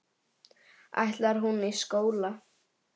Ætlar hún í skóla.